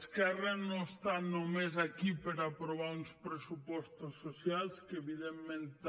esquerra no està només aquí per aprovar uns pressupostos socials que evidentment també